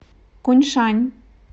куньшань